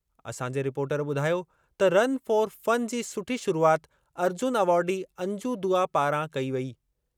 असांजे रिपोर्टर ॿुधायो त रन फ़ॉर फ़न जी सुठी शुरूआति अर्जुन अवॉर्डी अंजू दुआ पारां कई वेई।